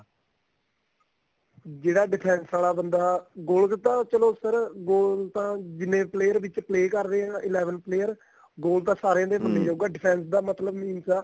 ਜਿਹੜਾ defense ਵਾਲਾ ਬੰਦਾ goal ਤਾਂ ਚਲੋ ਫੇਰ goal ਤਾਂ ਜਿੰਨੇ player ਵਿਚ play ਕਰ ਰਹੇ ਏ eleven player goal ਤਾਂ ਸਾਰੀਆਂ ਦੇ ਮੰਨਿਆ ਜਾਉਗਾ defense ਦਾ ਮਤਲਬ means ਆ